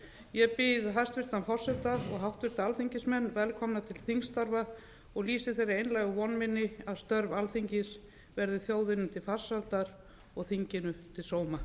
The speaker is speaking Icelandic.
ég býð hæstvirtan forseta og háttvirtir alþingismenn velkomna til þingstarfa og lýsi þeirri einlægu von minni að störf alþingis verði þjóðinni til farsældar og þinginu til sóma